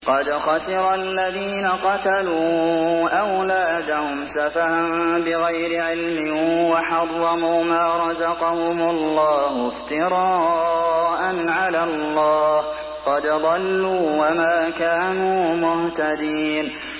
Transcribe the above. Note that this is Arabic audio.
قَدْ خَسِرَ الَّذِينَ قَتَلُوا أَوْلَادَهُمْ سَفَهًا بِغَيْرِ عِلْمٍ وَحَرَّمُوا مَا رَزَقَهُمُ اللَّهُ افْتِرَاءً عَلَى اللَّهِ ۚ قَدْ ضَلُّوا وَمَا كَانُوا مُهْتَدِينَ